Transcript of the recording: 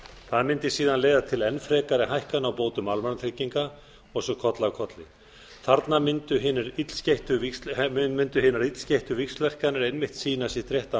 það mundi síðan leiða til enn frekari hækkana á bótum almannatrygginga og svo koll af kolli þarna mundu hinar illskeyttu víxlverkanir einmitt sýna sitt rétta